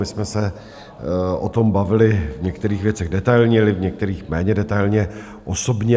My jsme se o tom bavili v některých věcech detailně, v některých méně detailně osobně.